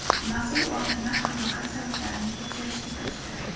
Mas’ul organlar halokat sabablarini tekshirishga kirishdi.